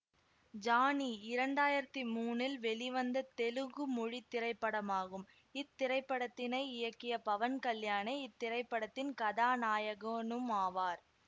Johnny இரண்டாயிரத்தி மூனில் வெளிவந்த தெலுங்கு மொழி திரைப்படமாகும் இத்திரைப்படத்தினை இயக்கிய பவன் கல்யாணே இத்திரைப்படத்தின் கதாநாயகனுமாவார்